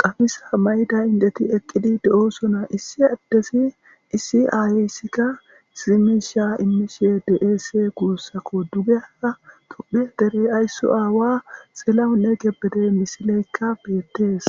qamisa mayda indeti eqqidi de7osona issi addezi issi aayeyssikka zimisha imishe dese guussako duge aa qophie derey ayssu aawa xillahunne gebete misileykka beettees